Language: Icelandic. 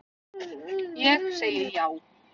Ég segi já.